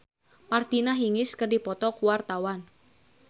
Nino Fernandez jeung Martina Hingis keur dipoto ku wartawan